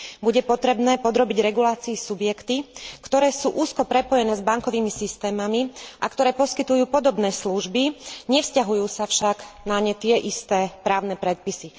Bude potrebné podrobiť regulácii subjekty, ktoré sú úzko prepojené s bankovými systémami a ktoré poskytujú podobné služby, nevzťahujú sa však na ne tie isté právne predpisy.